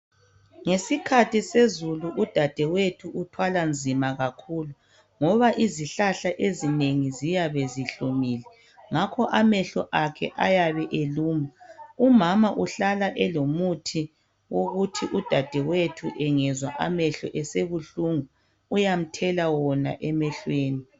Ngesikhathi sezulu udadewethu uthwala nzima kakhulu ngoba izihlahla ezinengi ziyabe zihlumile ngakho amehlo akhe ayabe eluma. Umama uhlala elomuthi owokuthi udadewethu engezwa amehlo esebuhlungu uyamthela wona emehlweni.